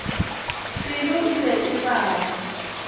pelo e be e baba